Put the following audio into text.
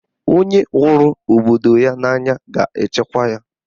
Onye hụrụ obodo ya n'anya ga-echekwa ya.